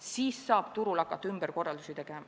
Siis saab turul hakata ümberkorraldusi tegema.